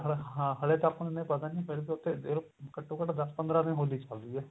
ਹਾਂ ਹਲੇ ਤਾਂ ਆਪਾਂ ਨੇ ਇੰਨਾ ਪਤਾ ਨੀ ਫ਼ਿਰ ਤਾਂ ਉੱਥੇ ਦੇਖਲੋ ਘੱਟੋ ਘੱਟ ਦਸ ਪੰਦਰਾਂ ਦਿਨ ਹੋਲੀ ਚੱਲਦੀ ਏ